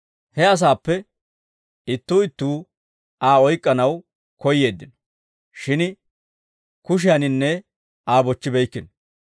He asaappe ittuu ittuu Aa oyk'k'anaw koyyeeddino; shin kushiyaaninne Aa bochchibeykkino.